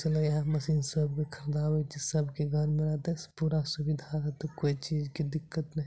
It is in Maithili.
चला इहे मशीन सबके खरीदाबे छीये सबके घर में रहते पूरा सुविधा होएते कोय चीज के दिक्कत ने --